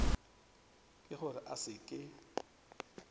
ke gore a se ke